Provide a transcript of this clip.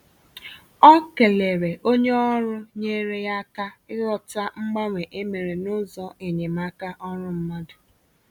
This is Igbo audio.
Ọ kelere onye ọrụ nyere ya aka ịghọta mgbanwe e mere n’ụzọ enyemaka ọrụ mmadụ